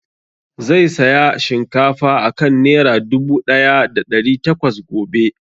Zai saya shinkafa a kan nera dubu ɗaya da ɗari takwas gobe